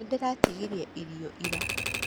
Nĩndĩratigirie irio ira.